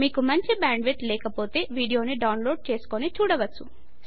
మీకు మంచి bandwidth లేకపోతె వీడియోని డౌన్ లోడ్ చేసుకుని చూడవచ్చు